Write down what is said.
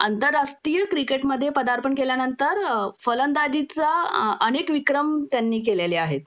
आंतरराष्ट्रीय क्रिकेटमध्ये पदार्पण केल्यानंतर फलंदाजीचा अनेक विक्रम त्यांनी केलेले आहेत